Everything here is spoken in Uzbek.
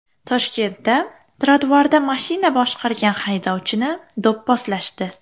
Toshkentda trotuarda mashina boshqargan haydovchini do‘pposlashdi.